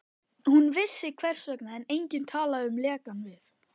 Hún vissi, hvers vegna enginn talaði um lekann við